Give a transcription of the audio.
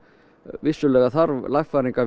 vissulega þarf lagfæringar